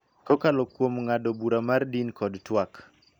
Kokalo kuom ng�ado bura mar din kod twak.